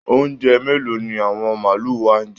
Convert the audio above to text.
Oúnjẹ mélòó ni àwọn màlúù wa ń jẹ?